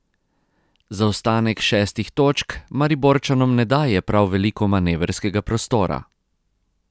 Zaostanek šestih točk Mariborčanom ne daje prav veliko manevrskega prostora.